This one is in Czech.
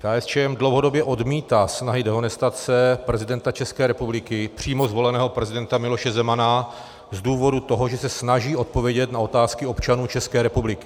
KSČM dlouhodobě odmítá snahy dehonestace prezidenta České republiky, přímo zvoleného prezidenta Miloše Zemana, z důvodu toho, že se snaží odpovědět na otázky občanů České republiky.